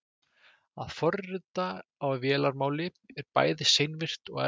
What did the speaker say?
Að forrita á vélarmáli er bæði seinvirkt og erfitt.